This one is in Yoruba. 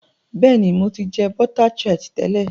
béèni, mọ tí jẹ bota tart tẹlẹ.